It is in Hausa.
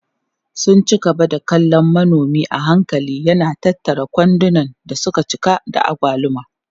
Suna ci gaba da kallon manomi a hankali yana tattara kwandunan da suka cika da agwaluma.